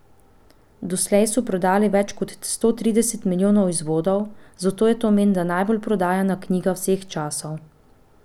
Doslej so prodali več kot sto trideset milijonov izvodov, zato je to menda najbolje prodajana knjiga vseh časov.